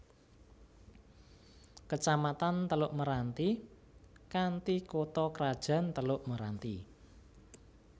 Kecamatan Teluk Meranti kanthi kutha krajan Teluk Meranti